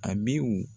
Abiw